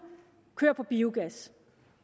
kører på biogas